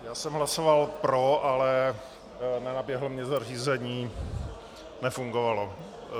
Já jsem hlasoval pro, ale nenaběhlo mi zařízení, nefungovalo.